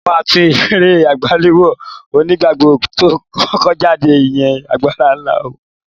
Mo máa tún eré àgbéléwò onígbàgbọ́ tó kọ́kọ́ jáde, ìyẹn Agbára Ńlá wò lọ́la